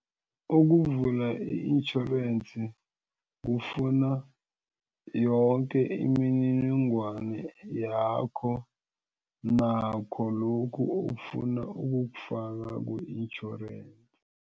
Ukuvula i-intjhorensi kufuna yonke imininingwane yakho nakho lokhu ofuna ukukufaka ku-intjhorensi.